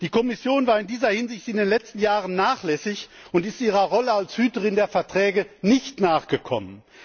Die Kommission war in dieser Hinsicht in den letzten Jahren nachlässig und ist ihrer Rolle als Hüterin der Verträge nicht nachgekommen.